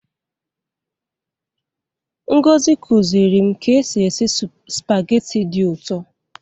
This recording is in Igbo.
Ngozi kụziri m ka e si esi Spaghetti dị ụtọ.